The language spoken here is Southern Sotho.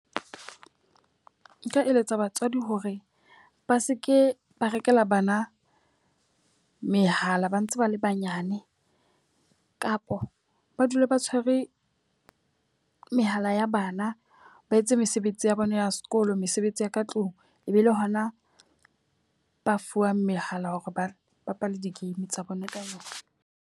Nka eletsa batswadi hore ba seke ba rekela bana mehala ba ntse ba le banyane. Kapo ba dula ba tshwere mehala ya bana ba etse mesebetsi ya bona ya sekolo, mesebetsi ya ka tlung. E be le hona ba fuwang mehala hore ba bapale di-game tsa bona ka yona.